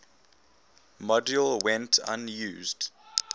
module went unused